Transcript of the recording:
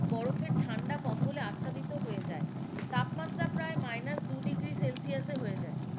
বরফের ঠান্ডা কম্বলে আচ্ছাদিত হয়ে যায় তাপমাত্রা প্রায় মাইনাস দুই ডিগ্রী সেলসিয়াসে হয়ে যায়,